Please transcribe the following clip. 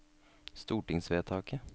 stortingsvedtaket